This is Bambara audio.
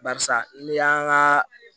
Barisa ni y'an ka